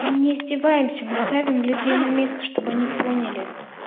мы не издеваемся мы ставим людей на место чтобы они поняли